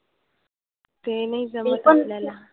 ते नाही जमत आपल्याला.